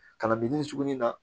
Kalanbilen tuguni na